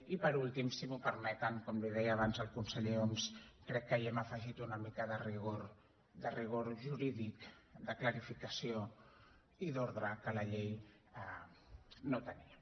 i per últim si m’ho permeten com li deia abans al conseller homs crec que hi hem afegit una mica de rigor jurídic de clarificació i d’ordre que la llei no tenia